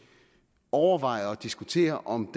overvejer at diskutere om